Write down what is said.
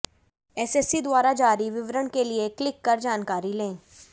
SSC द्वारा जारी विवरण के लिए क्लीक कर जानकारी ले